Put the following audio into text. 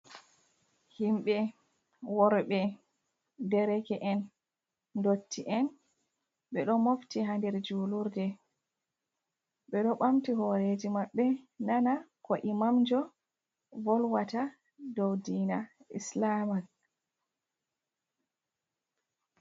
Himɓe worɓe, dereke en, dotti en, ɓe ɗo mofti ha nder julurde ɓe ɗo ɓamti horeji maɓɓe nana ko imamjo volwata dow diina islama.